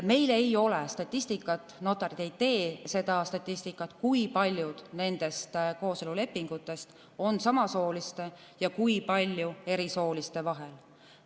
Meil ei ole statistikat, notarid ei tee seda statistikat, kui paljud nendest kooselulepingutest on sõlmitud samasooliste ja kui paljud erisooliste vahel.